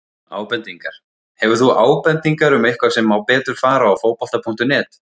Ábendingar: Hefur þú ábendingar um eitthvað sem má betur fara á Fótbolta.net?